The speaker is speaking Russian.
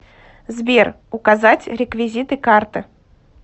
сбер указать реквизиты карты